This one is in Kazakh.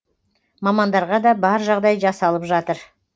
мамандарға да бар жағдай жасалып жатыр